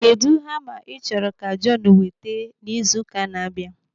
Kedụ hama ị chọrọ ka Jọnu weta n'izu ụka n'abia?